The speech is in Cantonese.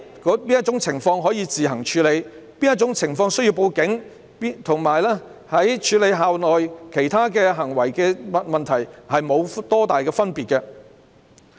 在哪種情況可以自行處理，在哪種情況需要報警，則與處理校內其他行為問題沒有大分別。